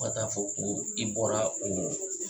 Fo ka taa fɔ ko i bɔra oo